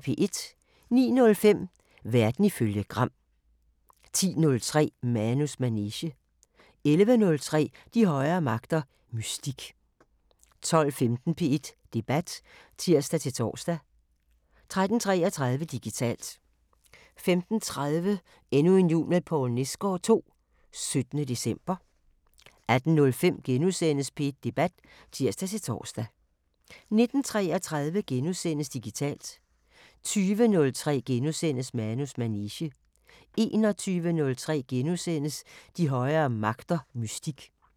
09:05: Verden ifølge Gram 10:03: Manus manege 11:03: De højere magter: Mystik 12:15: P1 Debat (tir-tor) 13:33: Digitalt 15:30: Endnu en jul med Poul Nesgaard II – 17. december 18:05: P1 Debat *(tir-tor) 19:33: Digitalt * 20:03: Manus manege * 21:03: De højere magter: Mystik *